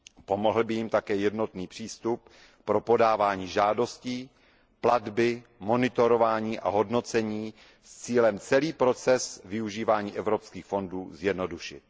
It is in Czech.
Pomohl by jim také jednotný přístup pro podávání žádostí, platby, monitorování a hodnocení s cílem celý proces využívání evropských fondů zjednodušit.